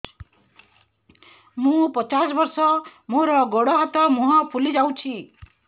ମୁ ପଚାଶ ବର୍ଷ ମୋର ଗୋଡ ହାତ ମୁହଁ ଫୁଲି ଯାଉଛି